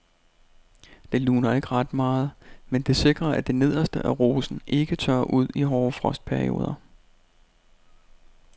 Det luner ikke ret meget, men det sikrer at det nederste af rosen ikke tørrer ud i hårde frostperioder.